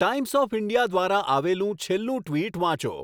times of India દ્વારા આવેલું છેલ્લું ટ્વિટ વાંચો